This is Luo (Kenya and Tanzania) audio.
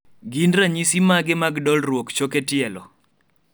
gin ranyisi mage mag dolruok choke tielo